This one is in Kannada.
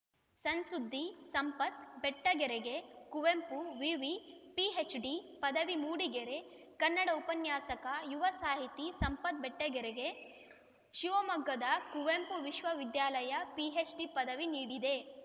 ಸಣ್‌ ಸುದ್ದಿ ಸಂಪತ್‌ ಬೆಟ್ಟಗೆರೆಗೆ ಕುವೆಂಪು ವಿವಿ ಪಿಎಚ್‌ಡಿ ಪದವಿ ಮೂಡಿಗೆರೆ ಕನ್ನಡ ಉಪನ್ಯಾಸಕ ಯುವ ಸಾಹಿತಿ ಸಂಪತ್‌ ಬೆಟ್ಟಗೆರೆಗೆ ಅವರಿಗೆ ಶಿವಮೊಗ್ಗದ ಕುವೆಂಪು ವಿಶ್ವವಿದ್ಯಾಲಯ ಪಿಎಚ್‌ಡಿ ಪದವಿ ನೀಡಿದೆ